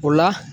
O la